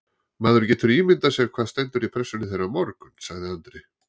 Maður getur ímyndað sér hvað stendur í pressunni þeirra á morgun, sagði Andri.